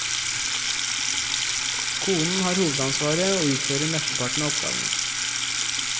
Konen har hovedansvaret og utfører mesteparten av oppgavene.